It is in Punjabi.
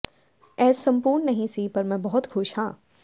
ਇਹ ਸੰਪੂਰਨ ਨਹੀਂ ਸੀ ਪਰ ਮੈਂ ਬਹੁਤ ਖੁਸ਼ ਹਾਂ